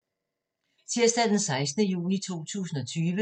Tirsdag d. 16. juni 2020